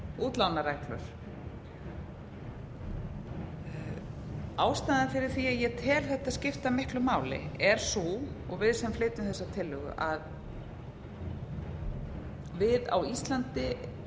útlánareglur ástæðan fyrir því að ég og við sem flytjum þessa tillögu teljum þetta skipta miklu máli er sú að við á íslandi